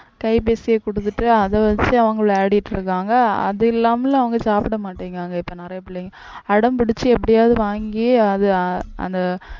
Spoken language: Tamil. கைபேசியை கொடுத்துட்டு அதை வச்சு அவங்க விளையாடிட்டு இருக்காங்க, அது இல்லாமலும் அவங்க சாப்பிடமாட்டேங்குறாங்க இப்ப நிறைய பிள்ளைங்க அடம் பிடிச்சு எப்படியாவது வாங்கி அதை அந்த